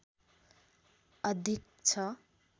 अधिक छ